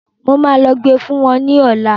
Máa lọ gbe fún wọn ní òla.